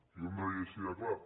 i ho hem de dir així de clar